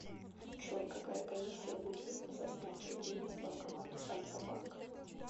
джой какая комиссия будет за снятие денег в банкомате альфа банка